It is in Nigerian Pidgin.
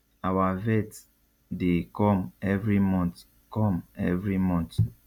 our vet dey come every month come every month